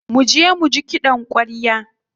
Muje muji kiɗan ƙwarya.